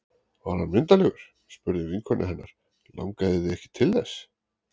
Var hann myndarlegur? spurði vinkona hennar Langaði þig ekki til þess?